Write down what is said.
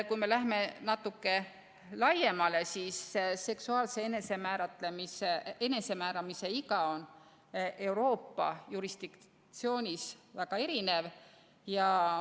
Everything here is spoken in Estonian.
Kui me lähme natuke laiemale, siis seksuaalse enesemääramise iga on Euroopa jurisdiktsioonis väga erinev.